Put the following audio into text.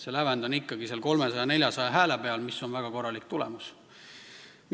See lävend on ikkagi 300–400 häält, mis on väga korralik tulemus.